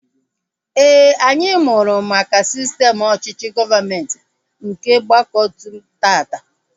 Éè, anyị mụrụ maka sistem ọchịchị gọọmenti nke ọgbakọotu taata